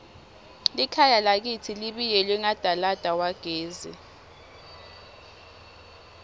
likhaya lakitsi libiyelwe ngadalada wagesi